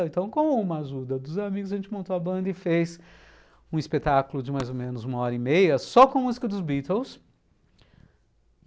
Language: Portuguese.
Então, com uma ajuda dos amigos, a gente montou a banda e fez um espetáculo de mais ou menos uma hora e meia, só com música dos Beatles.